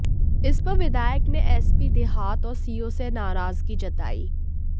इस पर विधायक ने एसपी देहात और सीओ से नाराजगी जतायी